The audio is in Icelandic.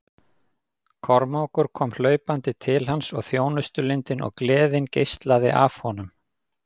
Kormákur kom hlaupandi til hans og þjónustulundin og gleðin geislaði af honum.